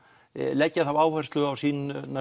leggja þá áherslu á sínar